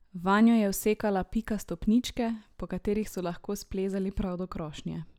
Vanjo je vsekala Pika stopničke, po katerih so lahko splezali prav do krošnje.